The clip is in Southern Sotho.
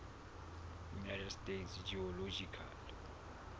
united states geological